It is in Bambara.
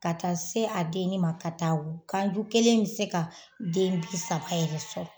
Ka taa se a denni ma ka taa wu ganju kelen bɛ se ka den bi saba yɛrɛ sɔrɔ.